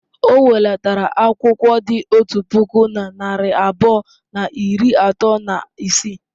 O welatara akwụkwọ dị otu puku na narị abụọ na iri atọ na isii.